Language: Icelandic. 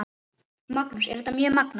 Magnús: Er þetta mjög magnað?